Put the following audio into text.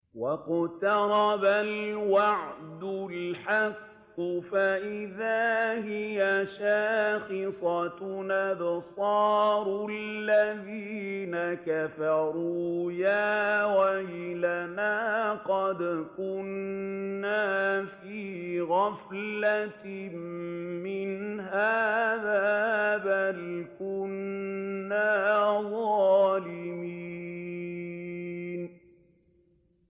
وَاقْتَرَبَ الْوَعْدُ الْحَقُّ فَإِذَا هِيَ شَاخِصَةٌ أَبْصَارُ الَّذِينَ كَفَرُوا يَا وَيْلَنَا قَدْ كُنَّا فِي غَفْلَةٍ مِّنْ هَٰذَا بَلْ كُنَّا ظَالِمِينَ